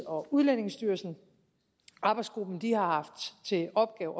og udlændingestyrelsen arbejdsgruppen har haft til opgave